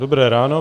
Dobré ráno.